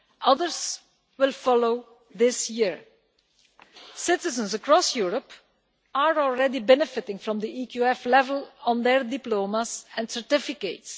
Others will follow this year. Citizens across Europe are already benefiting from the EQF level on their diplomas and certificates.